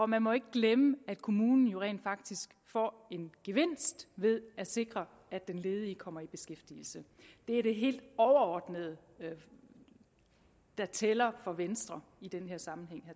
man må ikke glemme at kommunen rent faktisk får en gevinst ved at sikre at den ledige kommer i beskæftigelse det er det helt overordnede der tæller for venstre i den her sammenhæng